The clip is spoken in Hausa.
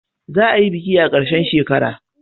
Za a yi biki a karshen shekara